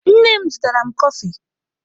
Nne m zụtara m kọfị.